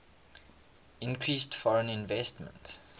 increased foreign investment